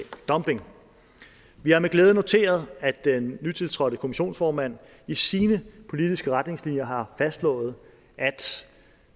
dumping vi har med glæde noteret at den nytiltrådte kommissionsformand i sine politiske retningslinjer har fastslået at